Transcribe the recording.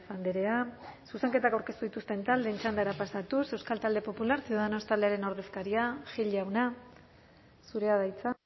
andrea zuzenketak aurkeztu dituzten taldeen txandara pasatuz euskal talde popular ciudadanos taldearen ordezkaria gil jauna zurea da hitza